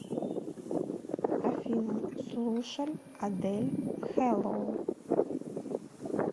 афина слушаль адель хэллоу